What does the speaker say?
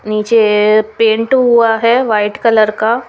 निचे पेंट हुआ है वाइट कलर का।